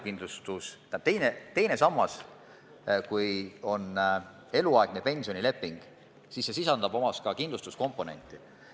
Kui on sõlmitud eluaegne pensionileping, siis see teine sammas sisaldab ka kindlustuskomponenti.